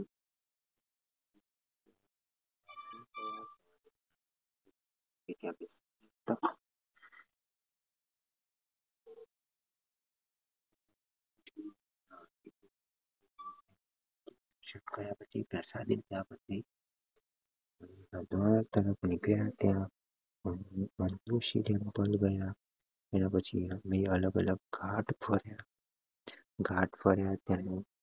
ગયા પછી પ્રસાદી લીધા પછી સંતોષી tempel ગયા એના પછી અમે અલગ અલગ ઘાટ ફર્યા ઘાટ ફર્યા પછી